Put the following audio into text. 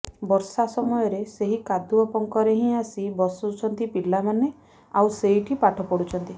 ବର୍ଷା ସମୟରେ ସେହି କାଦୁଅ ପଙ୍କରେ ହିଁ ଆସି ବସୁଛନ୍ତି ପିଲାମାନେ ଆଉ ସେଇଠି ପାଠ ପଢୁଛନ୍ତି